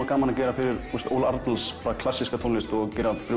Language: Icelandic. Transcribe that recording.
gaman að gera fyrir Óla Arnalds klassíska tónlist og gera fyrir